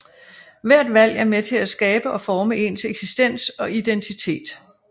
Hvert valg er med til at skabe og forme ens eksistens og identitet